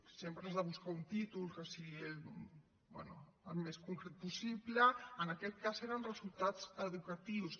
sempre has de buscar un títol que sigui bé el més concret possible en aquest cas era resultats educatius